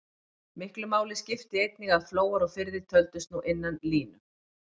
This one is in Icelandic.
Miklu skipti einnig að flóar og firðir töldust nú innan línu.